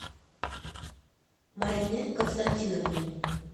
марине константиновне